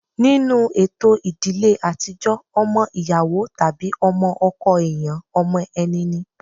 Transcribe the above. Nínú ètò ìdílé àtijọ́ ọmọ ìyàwó tàbí ọmọ ọkọ èèyàn ọmọ ẹni ni